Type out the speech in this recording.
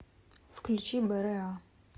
включи бра